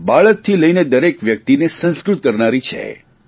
બાળકથી લઇને દરેક વ્યકિતને સંસ્કૃત કરનારી છે